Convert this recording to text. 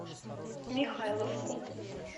михайловку